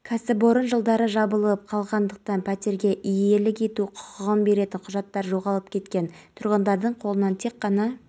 эни өзі жұмыс жасайтын барлық елде ең үздік технологияларды қолданысқа енгізеді ол негізінен бұрғылау аппараттары біз